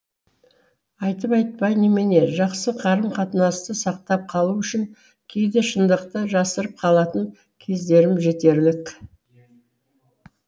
айтып айтпай немене жақсы қарым қатынасты сақтап қалу үшін кейде шындықты жасырып қалатын кездерім жетерлік